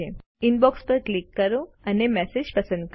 inbox પર click કરો અને મેસેજ પસંદ કરો